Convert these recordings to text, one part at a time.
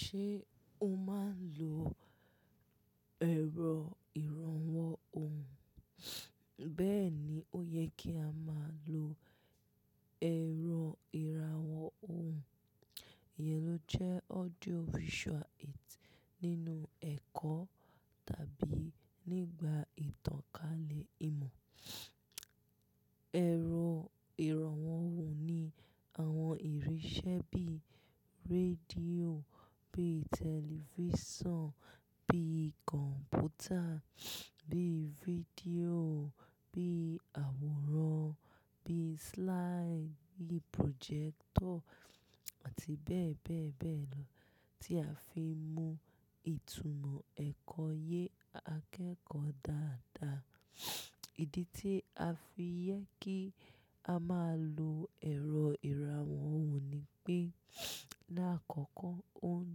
Ṣé o máa ń lo ẹ̀rọ ìrànwọ́ ohùn? Bẹ́ẹ̀ni, ó yẹ kí a máa lo ẹ̀rọ ìrànwọ́ ohùn. Ìyẹn ló jẹ́ audio visual aids nínú ẹ̀kọ́ tàbí nígbà ìtànkálẹ̀ ìmọ̀. Ẹ̀rọ ìrànwọ́ ohùn ni àwọn ìrínsẹ́ bíi rédíò, bíi tẹlifíṣàn, bíi kọ̀m̀pútà, bíi fídíò, bíi àwòrán, bíi slide, bíi projector àti bẹ́ẹ̀ bẹ́ẹ̀ bẹ́ẹ̀ lọ tí a fi ń mú ìtúmọ̀ ẹ̀kọ́ yé akẹ́kọ̀ọ́ dáadáa. Ìdí tí a fi yẹ kí a máa lo ẹ̀rọ ìrànwọ́ ohùn ni pé lákọ̀ọ̀kọ́ ó ń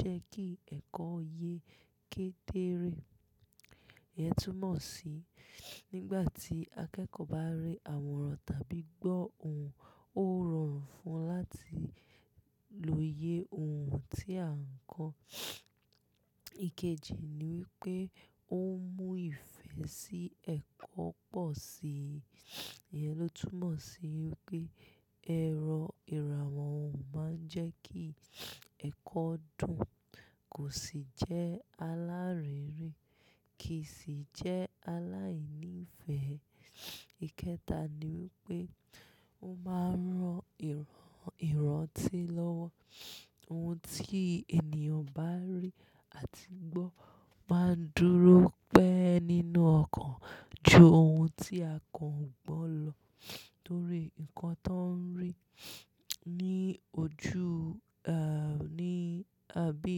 jẹ́ kí ẹ̀kọ́ yé kédéré. Ìyẹn túmọ̀ sí nígbà tí akẹ́kọ̀ọ́ bá rí àwòrán tàbí gbọ́ ohùn, ó rọrùn fún un láti lo iye ohùn tí à ń kọ́. Ikeji ni wípé ó ń mú ìfẹ́ sí ẹ̀kọ́ pọ̀ sí i. Ìyẹn ló túmọ̀ sí wípé ẹ̀rọ ìrànwọ́ ohùn máa ń jẹ́ kí ẹ̀kọ́ dùn, kò sì jẹ́ alárere kì í sì jẹ́ aláìní ìfẹ́. Ikẹta ni wípé ó máa ń ran ìrántí lọ́wọ́. Ohun tí ènìyàn bá rí àti gbọ́ máa ń dúró pẹ́ nínú ọkàn ju ohun tí a kò gbọ́ lọ. Nítorí nnkan tó ń rí ní ojú, ah, ní, àbí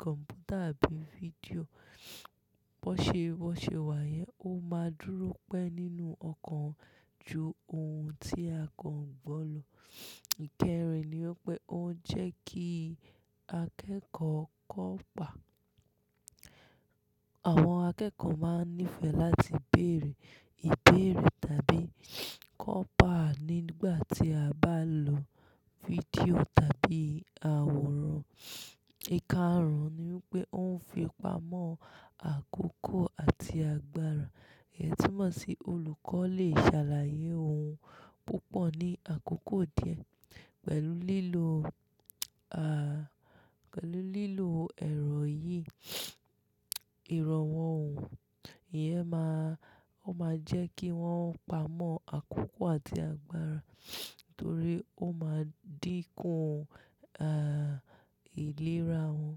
kọ̀m̀pútà àbí fídíò, bọ́ ṣe, bọ́ ṣe wà yẹn ó máa ń dúró pẹ́ nínú ọkàn ju ohun tí a kan gbọ́ lọ. Ikẹrin ni wípé ó ń jẹ́ kí akẹ́kọ̀ọ́ kọ́ pá. Àwọn akẹ́kọ̀ọ́ máa ń nífẹ̀ẹ́ láti beèrè ìbéèrè tàbí kọ́pa nígbà tí a bá ń lo fídíò tàbí àwòrán. Ikarun ni wípé ó ń fi pamọ́ àkókò àti agbára. Ìyẹn túmọ̀ sí olùkọ́ lè ṣàlàyé ohun púpọ̀ ní àkókò díẹ̀ pẹ̀lú lílo, ah, pẹ̀lú lílo ẹ̀rọ yìí, ìrànwọ́ ohùn. Ìyẹn máa, ó máa jẹ́ kí wọ́n pamọ́ àkókò àti agbára torí ó máa dínkù, ah, ìlera wọn.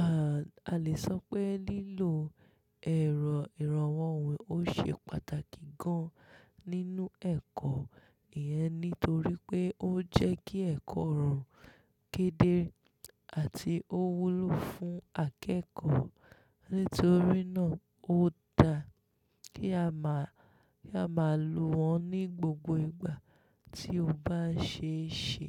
Ah, a lè sọ pé lílo ẹ̀rọ ìrànwọ́ ohùn ó ṣe pàtàkì gan nínú ẹ̀kọ́. Ìyẹn nítorí pé ó ń jẹ́ kí ẹ̀kọ́ rọ̀run kédé àti ó wúlò fún akẹ́kọ̀ọ́. Nítorí náà ó da kí a máa, kí a máa lo wọ́n ní gbogbo ìgbà tí ó bá ṣe é ṣe.